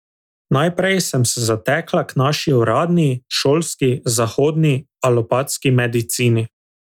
Najprej sem se zatekla k naši uradni, šolski, zahodni, alopatski medicini.